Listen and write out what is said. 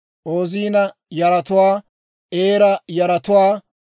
Oozina yaratuwaa, Eera yaratuwaa,